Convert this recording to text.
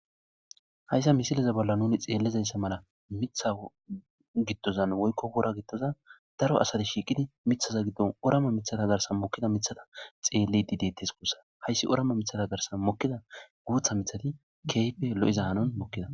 Haysa misileza bolla nun xelizaysa mala Mitha gidozan woykko wora gidozan daro asat shiqid mithaza gidon orama mithata garsan mokida mithata xelid detes guusa. Hays orama mithata garsan mokida guutha mithat keehippe lo'iza hanon ...